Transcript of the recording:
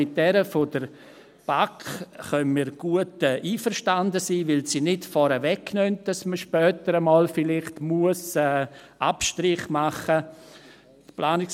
Mit jener der BaK können wir gut einverstanden sein, weil sie nicht vorwegnimmt, dass man vielleicht später einmal Abstriche machen muss.